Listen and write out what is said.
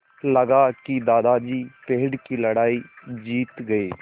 लगा कि दादाजी पेड़ की लड़ाई जीत गए